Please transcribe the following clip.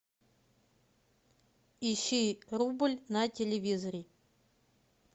ищи рубль на телевизоре